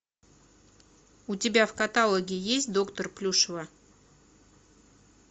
у тебя в каталоге есть доктор плюшева